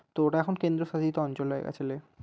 তো ওটা এখন কেন্দ্রশাসিত অঞ্চল হয়ে গেছে।